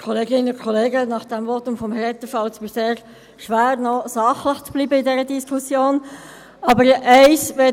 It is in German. Nach dem Votum von Herrn Etter fällt es mir sehr schwer, in dieser Diskussion noch sachlich zu bleiben.